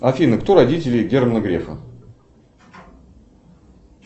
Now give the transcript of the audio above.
афина кто родители германа грефа